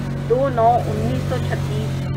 دو نو انیسو چھتیس